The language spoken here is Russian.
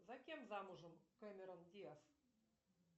за кем замужем кэмерон диаз